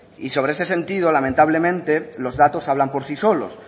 y sobre ese sentido lamentablemente los datos hablan por sí solos